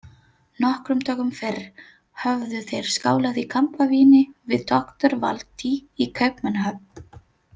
Nokkrum dögum fyrr höfðu þeir skálað í kampavíni við doktor Valtý í Kaupmannahöfn.